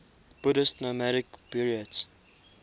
buddhist nomadic buryats